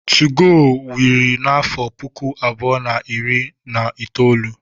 2go wiri n'afọ puku abụọ na iri na itoolu.